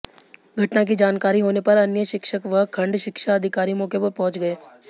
घटना की जानकारी होने पर अन्य शिक्षक व खंड शिक्षा अधिकारी मौके पर पहुंच गए